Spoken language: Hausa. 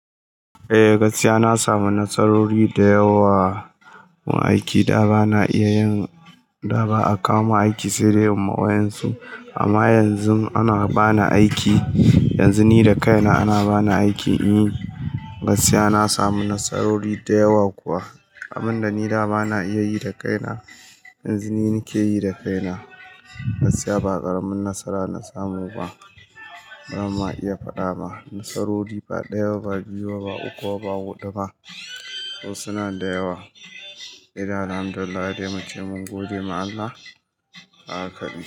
Eh, gaskiya na samu nasarori da yawa wa aiki da ba na iya yin, da ba a kama aiki ssode in yima wayan su. Amma yanzu ana bani aiki, yanzu ni da kaina ana bani aiki in yi. Gaskiya na samu nasarori da yawa kuwa. Abin da ni da ba na iya yi da kaina, yanzu ni nake yi da kaina. Gaskiya ba ƙaramin nasara na samu ba. Don ma iya faɗa ma, nasarori ba ɗaya ba, ba biyu ba, ba uku ba, ba huɗu ba. Su suna da yawa. Sai de Alhamdulillahi dai muce mun gode ma Allah, haka kawai.